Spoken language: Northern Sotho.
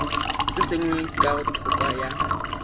se sengwe ka thoko ya